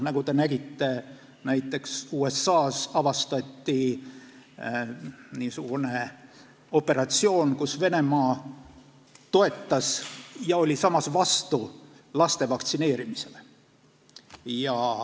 Nagu te nägite, avastati näiteks USA-s niisugune operatsioon, kus Venemaa toetas laste vaktsineerimist ja oli samas selle vastu.